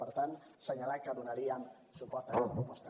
per tant assenyalar que donaríem suport a aquesta proposta